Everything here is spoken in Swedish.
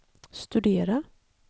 studera